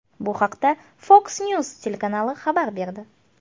Bu haqda Fox News telekanali xabar berdi .